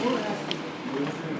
Bu normaldır.